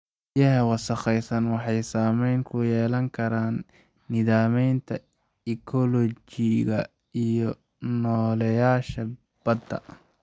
Biyaha wasakhaysan waxay saameyn ku yeelan karaan nidaamyada ekoolojiga iyo nooleyaasha badda.